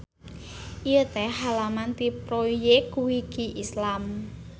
Ieu teh halaman ti Proyekwiki Islam.